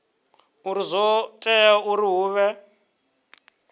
uri zwo tea uri hu